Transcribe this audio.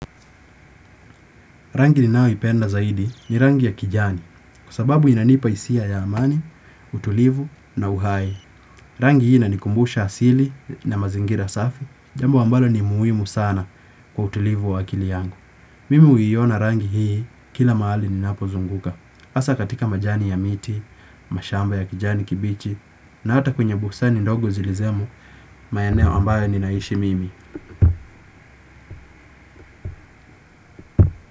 Rangi ninayoipenda zaidi ni rangi ya kijani kwa sababu inanipa isia ya amani, utulivu na uhai. Rangi hii inanikumbusha asili na mazingira safi, jambo ambalo ni muhimu sana kwa utulivu wa akili yangu. Mimi uiona rangi hii kila mahali ninapozunguka. Asa katika majani ya miti, mashamba ya kijani kibichi na hata kwenye bustani ndogo zilizemo maeneo ambayo ninaishi mimi.